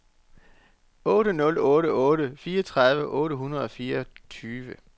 otte nul otte otte fireogtredive otte hundrede og fireogtyve